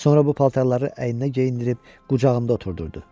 Sonra bu paltarları əyninə geyindirib qucağında oturdurdu.